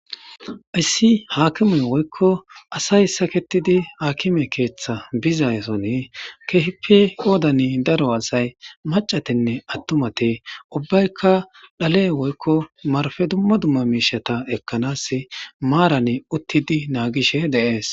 Issi haakimey woykko asay saketidi haakime keeththa bizayson kehippe qoodani daro asay macatinne attumate ubbaykka dhale woykko marfe dumma dumma miishata ekkanas maaran uttidi naagishe de'ees